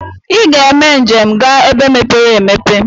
Iga eme njem ga ebe mepere emepe!